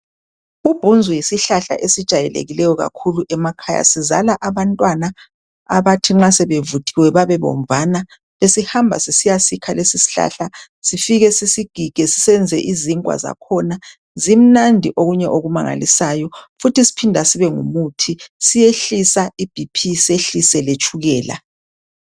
Ubhunzu yisihlahla esijayelekileyo kakhulu emakhaya. Sizala abantwana abathi nxa sebevuthiwe babebomvana. Besihamba sisiyasikha lesi sihlahla sifike sisigige senze izinkwa zakhona zimnandi okunye okumangalisayo futhi siphinda sibe ngumuthi siyehlisa ibp siyehlise letshukela.